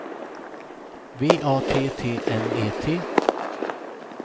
V A T T N E T